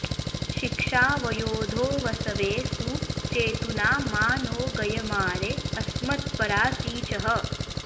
शिक्षा वयोधो वसवे सु चेतुना मा नो गयमारे अस्मत्परा सिचः